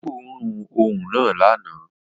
Ó gbóòórùn òun náà lánàá